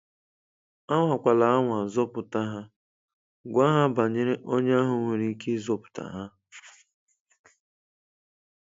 Anwakwala anwa zọpụta ha, gwa ha banyere onye ahụ nwere ike ịzọpụta ha.